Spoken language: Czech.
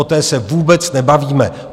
O té se vůbec nebavíme.